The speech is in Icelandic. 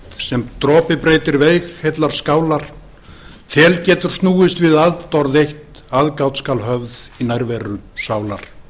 sem dropi breytir veig heillar skálar þel getur snúist við atorð eitt aðgát skal höfð í nærveru sálar